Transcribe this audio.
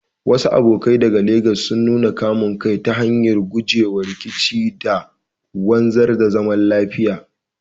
Wasu abokai daga Legas sun nuna kamun kai ta hanyar gujewa rikici da wanzar da zaman lafiya.